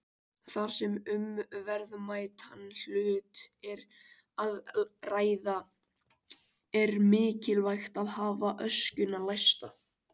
Þar sem um verðmætan hlut er að ræða er mikilvægt að hafa öskjuna læsta.